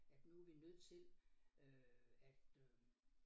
At nu vi nødt til øh at øh